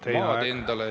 Teie aeg!